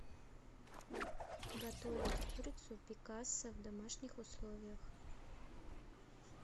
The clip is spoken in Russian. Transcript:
готовить курицу пикассо в домашних условиях